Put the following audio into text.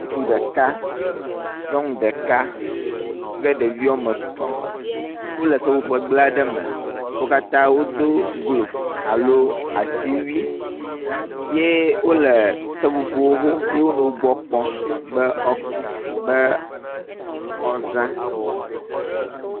Ŋutsu ɖeka nyɔnu ɖeka kple ɖevi wɔme etɔ̃ wo le seƒoƒo gble aɖe me. Wo katã wodo gloves aɖo asiwui ye wo le seƒoƒo hom ye wonɔ wo gbɔ kpɔm be wo be woaza.